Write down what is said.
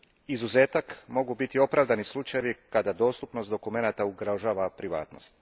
Izuzetak mogu biti opravdani slučajevi kada dostupnost dokumenata ugrožava privatnost.